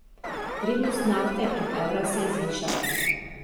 Vrednost nafte in evra se je zvišala.